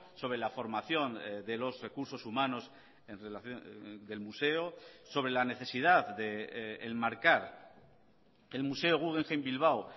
sobre la formación de los recursos humanos en relación del museo sobre la necesidad de enmarcar el museo guggenheim bilbao